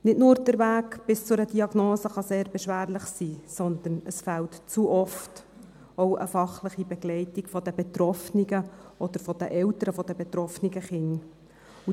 Nicht nur der Weg bis zu einer Diagnose kann sehr beschwerlich sein, sondern es fehlt zu oft auch eine fachliche Begleitung der Betroffenen oder der Eltern der betroffenen Kinder.